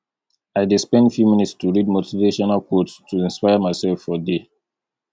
i dey spend few minutes to read motivational quotes to inspire myself for day